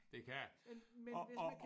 Det kan det og og